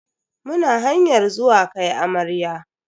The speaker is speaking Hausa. Muna hanyar zuwa kai amarya.